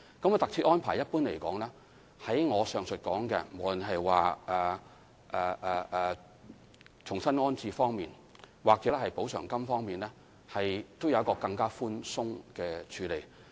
在特設安排方面，一般而言，在我上述提到的重新安置或特惠津貼方面，當局也會較寬鬆地處理。